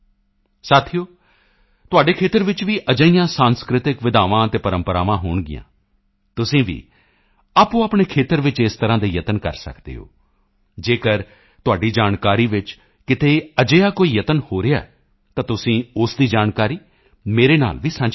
ਸਾਥੀਓ ਤੁਹਾਡੇ ਖੇਤਰ ਵਿੱਚ ਵੀ ਅਜਿਹੀਆਂ ਸਾਂਸਕ੍ਰਿਤਿਕ ਵਿਧਾਵਾਂ ਅਤੇ ਪਰੰਪਰਾਵਾਂ ਹੋਣਗੀਆਂ ਤੁਸੀਂ ਵੀ ਆਪਣੇਆਪਣੇ ਖੇਤਰ ਵਿੱਚ ਇਸ ਤਰ੍ਹਾਂ ਦੇ ਯਤਨ ਕਰ ਸਕਦੇ ਹੋ ਜੇਕਰ ਤੁਹਾਡੀ ਜਾਣਕਾਰੀ ਵਿੱਚ ਕਿਤੇ ਅਜਿਹਾ ਕੋਈ ਯਤਨ ਹੋ ਰਿਹਾ ਹੈ ਤਾਂ ਤੁਸੀਂ ਉਸ ਦੀ ਜਾਣਕਾਰੀ ਮੇਰੇ ਨਾਲ ਵੀ ਸਾਂਝੀ ਕਰੋ